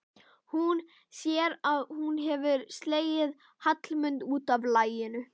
Hún sér að hún hefur slegið Hallmund út af laginu.